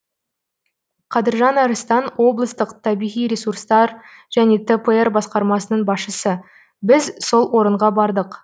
қадыржан арыстан облыстық табиғи ресурстар және тпр басқармасының басшысы біз сол орынға бардық